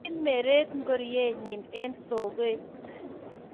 kimeret ngoriennyi eng sokot